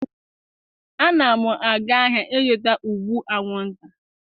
A na m aga ahịa ịzụta ụgbụ anwụnta.